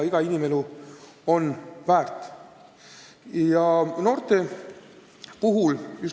Iga inimelu on väärtuslik.